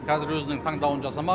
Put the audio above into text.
қазір өзінің таңдауын жасамақ